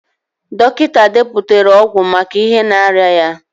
Dọkịta deputara ọgwụ maka ihe na-arịa ya.